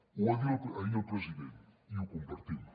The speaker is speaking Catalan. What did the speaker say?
ho va dir ahir el president i ho compartim